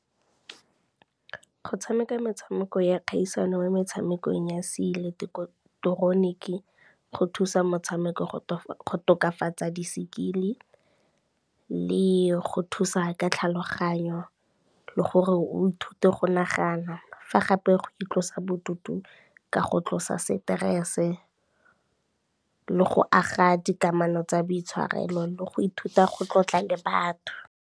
Go tshameka metshameko ya kgaisano mo metshamekong ya seileketoroniki go thusa motshameko go tokafatsa di-skill-i le go thusa ka tlhaloganyo le gore o ithute go nagana, fa gape go itlosa bodutu ka go tlosa stress-e, le go aga dikamano tsa boitshwarelo le go ithuta go tlotla le batho.